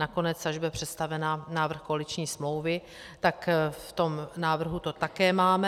Nakonec až bude představen návrh koaliční smlouvy, tak v tom návrhu to také máme.